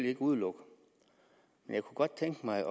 ikke udelukke men jeg kunne godt tænke mig at